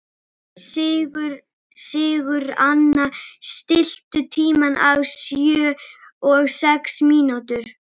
Sigurnanna, stilltu tímamælinn á sjötíu og sex mínútur.